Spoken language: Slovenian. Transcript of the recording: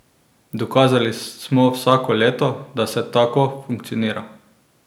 Dokazali smo vsako leto, da se tako funkcionira.